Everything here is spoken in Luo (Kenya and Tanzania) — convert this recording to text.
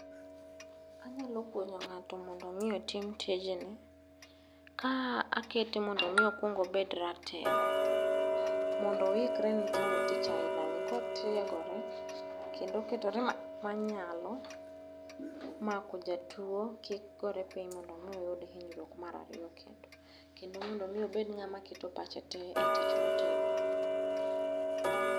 Anyalo puonjo ng'ato mondo mi otim tijni, ka akwaongakete mondo mi okwongobed ratego. Mondo oikre ne timo tich ainani kotiegore kendo oketore manyalo mako jatuo kik gore piny mondo mi oyud hinyruok marariyo kendo. Kendo mondo mi obed ng'ama keto pache te e tich motimo.